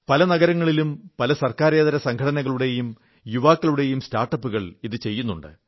പല നഗരങ്ങളിലും പല സർക്കാരേതര സംഘടനകളുടെയും യുവാക്കളുടെ സ്റ്റാർട്ടപ്പുകൾ ഇതു ചെയ്യുന്നുണ്ട്